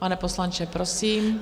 Pane poslanče, prosím.